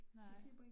Nej